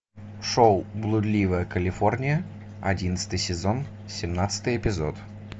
шоу блудливая калифорния одиннадцатый сезон семнадцатый эпизод